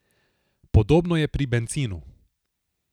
Podobno je pri bencinu.